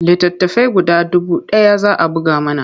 Littattafai guda dubu ɗaya za a buga mana.